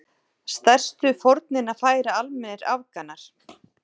Stærstu fórnina færa almennir Afganar.